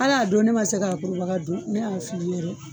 Al'a don ne ma se k'a kurubaga dun ne y'a fili yɛrɛ